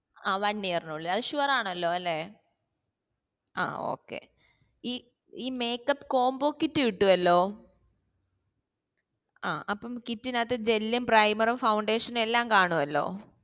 ആ one year നുള്ളിൽ അതു sure ആണല്ലോ അല്ലെ ആ oka y ഈ makeup combo kit കിട്ടുവല്ലോ ആ അപോം kit നകത്തു gel primer foundation എല്ലാം കാണുവല്ലോ